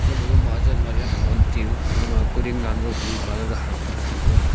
gama gama majat majat hon tiyu gama kuding lan gag blue colour harpic chi ngan taga.